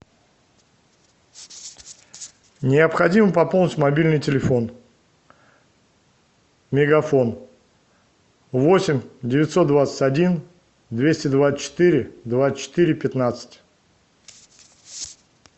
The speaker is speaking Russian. необходимо пополнить мобильный телефон мегафон восемь девятьсот двадцать один двести двадцать четыре двадцать четыре пятнадцать